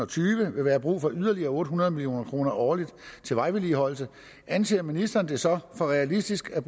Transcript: tyve vil være brug for yderligere otte hundrede million kroner årligt til vejvedligeholdelse anser ministeren det så for realistisk at